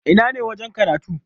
Ina ne wajen karatu?